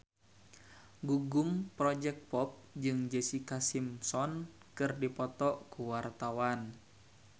Gugum Project Pop jeung Jessica Simpson keur dipoto ku wartawan